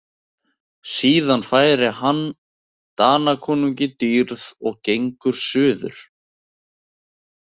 Síðan færir hann Danakonungi dýrið og gengur suður.